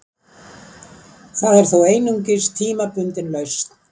Það er þó einungis tímabundin lausn